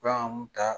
Bagan mun ta